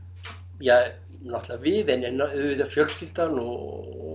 ja náttúrulega við en auðvitað fjölskyldan og